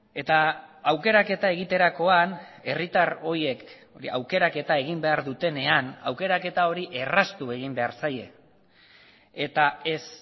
eta aukeraketa egiterakoan herritar horiek aukeraketa egin behar dutenean aukeraketa hori erraztu egin behar zaie eta ez